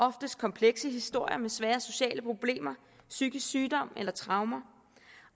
oftest komplekse historier med svære sociale problemer psykisk sygdom eller traumer